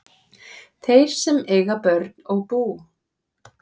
Þeir sem eiga börn og bú